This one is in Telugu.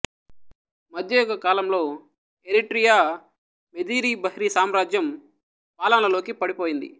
మధ్యయుగ కాలంలో ఎరిట్రియా మెదీరి బహ్రీ సామ్రాజ్యం పాలనలోకి పడిపోయింది